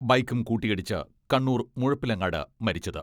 ബൈക്കും കൂട്ടിയിടിച്ച് കണ്ണൂർ മുഴുപ്പിലങ്ങാട് മരിച്ചത്.